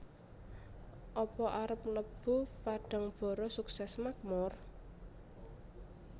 Apa arep mlebu Padangbara Sukses Makmur?